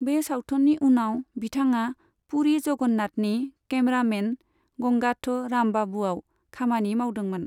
बे सावथुननि उनाव बिथाङा पुरी जगन्नाथनि कैमरामैन गंगाथो रामबाबुआव खामानि मावदोंमोन।